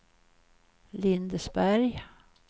Lindesberg